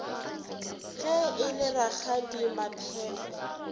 ge e le rakgadi maphefo